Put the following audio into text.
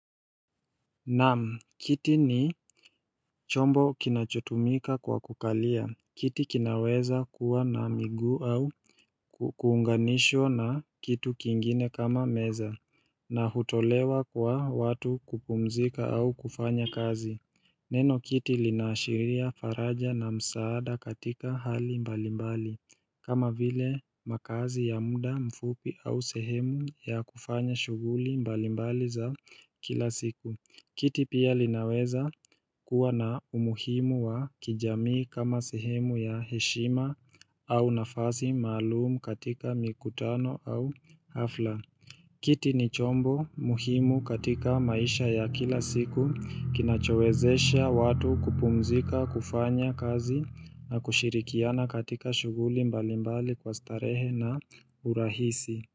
Naam, kiti ni chombo kinachotumika kwa kukalia, kiti kinaweza kuwa na miguu au kuunganishwa na kitu kingine kama meza, na hutolewa kwa watu kupumzika au kufanya kazi. Neno kiti linaashiria faraja na msaada katika hali mbalimbali, kama vile makazi ya muda mfupi au sehemu ya kufanya shuguli mbalimbali za kila siku. Kiti pia linaweza kuwa na umuhimu wa kijamii kama sehemu ya heshima au nafasi maalum katika mikutano au hafla. Kiti ni chombo muhimu katika maisha ya kila siku kinachowezesha watu kupumzika kufanya kazi na kushirikiana katika shuguli mbali mbali kwa starehe na urahisi.